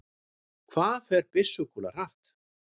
hvað fer byssukúla hratt